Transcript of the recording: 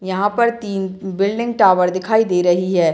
यहां पर तीन बिल्डिंग टावर दिखाई दे रही है।